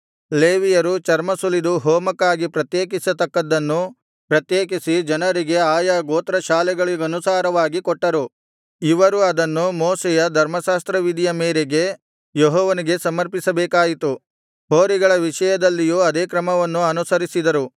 ಲೇವಿಯರು ಚರ್ಮ ಸುಲಿದು ಹೋಮಕ್ಕಾಗಿ ಪ್ರತ್ಯೇಕಿಸತಕ್ಕದ್ದನ್ನು ಪ್ರತ್ಯೇಕಿಸಿ ಜನರಿಗೆ ಆಯಾ ಗೋತ್ರಶಾಖೆಗಳಿಗನುಸಾರವಾಗಿ ಕೊಟ್ಟರು ಇವರು ಅದನ್ನು ಮೋಶೆಯ ಧರ್ಮಶಾಸ್ತ್ರವಿಧಿಯ ಮೇರೆಗೆ ಯೆಹೋವನಿಗೆ ಸಮರ್ಪಿಸಬೇಕಾಯಿತು ಹೋರಿಗಳ ವಿಷಯದಲ್ಲಿಯೂ ಅದೇ ಕ್ರಮವನ್ನು ಅನುಸರಿಸಿದರು